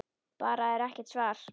Bara er ekkert svar.